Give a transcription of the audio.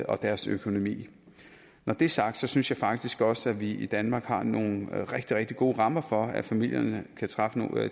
og deres økonomi når det er sagt synes jeg faktisk også at vi i danmark har nogle rigtig rigtig gode rammer for at familierne kan træffe